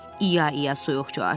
İa-ia soyuqca cavab verdi.